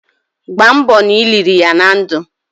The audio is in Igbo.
Gbamgbo na i liri ya na ndu!